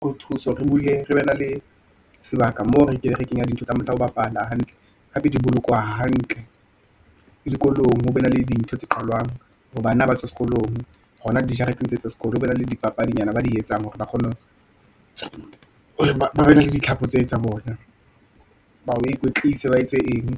Ke o thuso re bule, re be na le sebaka moo re kenya dintho tsa ho bapala hantle, hape di bolokwa hantle, le dikolong ho be na le dintho tse qalwang, hore bana ba tswa sekolong, hona dijareteng tse tsa sekolo, ho bane le dipapadinyana ba di etsang, hore ba kgone hore ba na le ditlhako tse tsa bona , ba o ikwetlise, ba etse eng ,